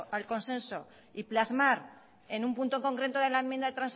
al consenso y plasmar en un punto concreto de la enmienda de